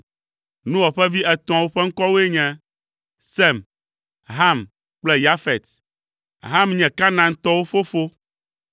Noa ƒe vi etɔ̃awo ƒe ŋkɔwoe nye Sem, Ham kple Yafet. (Ham nye Kanaantɔwo fofo.)